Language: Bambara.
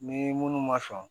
Ni minnu ma sɔn